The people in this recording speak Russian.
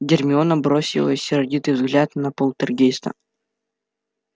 гермиона бросила сердитый взгляд на полтергейста